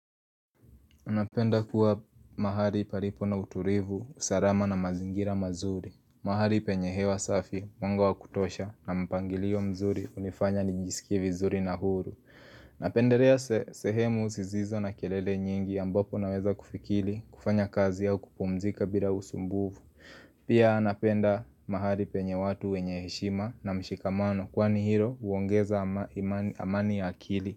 Anapenda kuwa mahali paripo na uturivu, usarama na mazingira mazuri. Mahali penye hewa safi, mwango wakutosha na mpangilio mzuri unifanya nijisikie vizuri na huru. Napenderea sehemu sizizo na kielele nyingi ambapo naweza kufikili, kufanya kazi au kupumzika bila usumbuvu. Pia anapenda mahali penye watu wenye heshima na mshikamano kwa ni hilo uongeza amani ya akili.